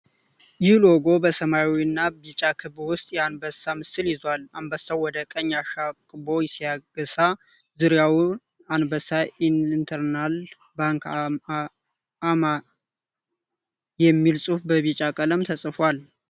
ይህ ሎጎ በሰማያዊና ቢጫ ክብ ውስጥ የአንበሳ ምስል ይዟል። አንበሳው ወደ ቀኝ አሻቅቦ ሲያገሳ፣ ዙሪያው "አንበሳ ኢንተርናል ባንክ አ.ማ." የሚል ጽሑፍ በቢጫ ቀለም ተጽፏል።